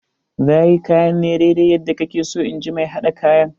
Za yi kayan ne daidai yadda kake so in ji mai haɗa kayan.